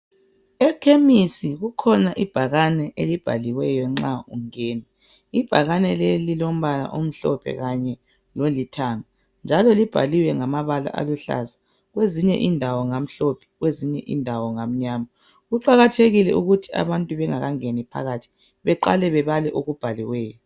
Ekhemisi kukhona ibhakane elibhaliweyo nxa ungena ibhakane leli lilombala omhlophe kanye lolithanga njalo libhaliwe ngamabala aluhlaza kwezinye indawo ngamhlophe kwezinye indawo ngamnyama kuqakathekile ukuthi abantu bengakangeni phakathi beqale bebale okubhaliweyo